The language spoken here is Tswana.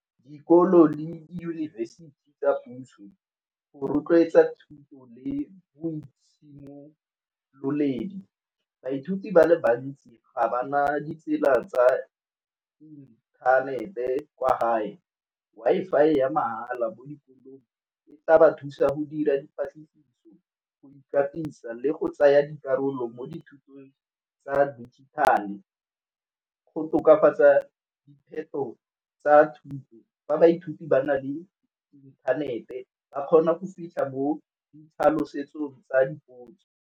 Dikolo le diyunibesithi tsa puso. Go rotloetsa thuto le boitshimololedi, baithuti ba le bantsi ga ba na ditsela tsa inthanete kwa gae. Wi-Fi ya mahala mo dikolong e tla ba thusa go dira dipatlisiso, go ikatisa le go tsaya dikarolo mo dithutong tsa dijithale. Go tokafatsa diphetogo tsa thuto fa baithuti ba na le inthanete ba kgona go fitlha mo di tlhalosetsong tsa dipotso.